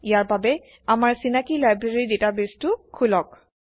ইয়াৰ বাবে আমাৰ চিনাকি লাইব্ৰেৰী ডাটাবেছটো খোলক